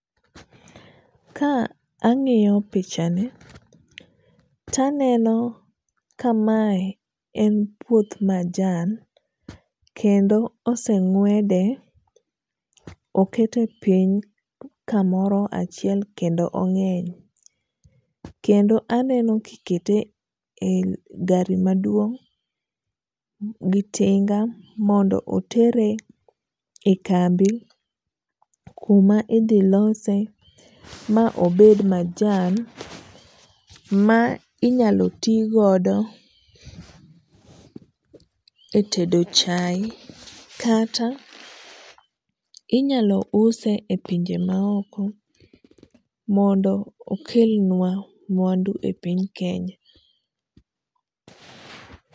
Ka ang'iyo pichani, to aneno ka mae en puoth majan kendo oseng'wede okete piny kamoro achiel kendo ong'eny, kendo aneno kikete e gari maduong' gi tinga mondo otere e kambi kuma ithilose ma obed majan ma inyalo ti godo e tedo chai kata inyalo use e pinje maoko mondo okelnwa mwandu e piny Kenya